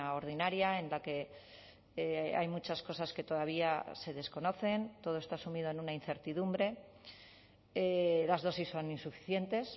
ordinaria en la que hay muchas cosas que todavía se desconocen todo está sumido en una incertidumbre las dosis son insuficientes